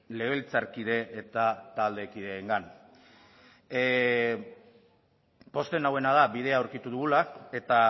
legebiltzarkide eta taldekideengan pozten nauena da bidea aurkitu dugula eta